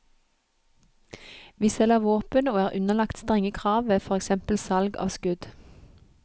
Vi selger våpen og er underlagt strenge krav ved for eksempel salg av skudd.